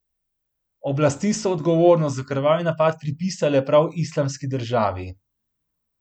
Oblasti so odgovornost za krvavi napad pripisale prav Islamski državi.